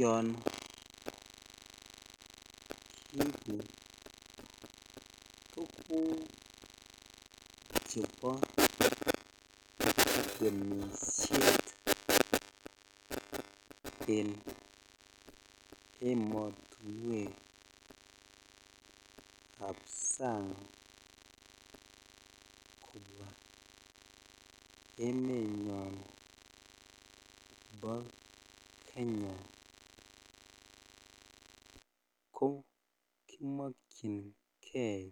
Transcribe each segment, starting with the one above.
Yon kiibu tuguk chebo temishet en ematuwek ab sang kobwa emenyon bo Kenya ko kimokyinkei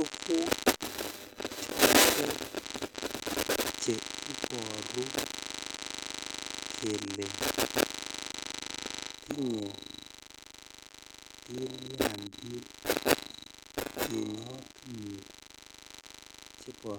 tuguk chotet che iboru kele tinye tilyandit ematuwek chebo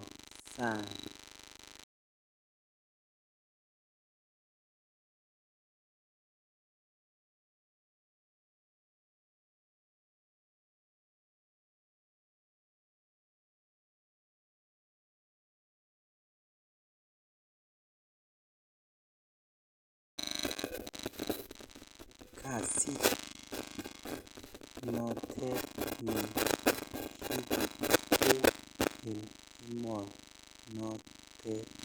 sang (puse)tiny en emonotet.